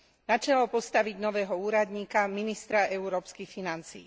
Na čelo postaviť nového úradníka ministra európskych financií.